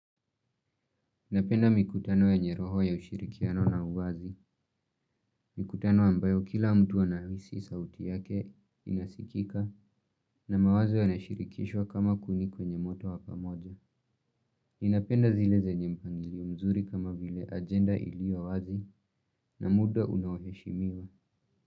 Napenda mikutano yenye roho ya ushirikiano na uwazi. Mikutano ambayo kila mtu anahisi sauti yake inasikika na mawazo yanashirikishwa kama kuni kwenye moto wa pamoja. Ninapenda zile zenye mpangilio mzuri kama vile agenda iliyo wazi na muda unaoheshimiwa.